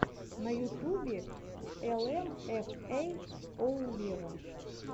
на ютубе эл эм эф эй оу вево